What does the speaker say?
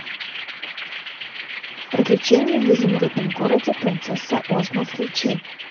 приключения в изумрудном городе принцесса озма включи